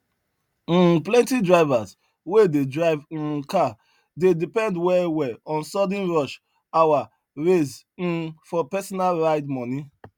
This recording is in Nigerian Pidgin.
um plenty drivers wey dey drive um car dey depend well well on sudden rush hour raise um for personal ride money